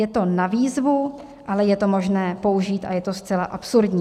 Je to na výzvu, ale je to možné použít a je to zcela absurdní.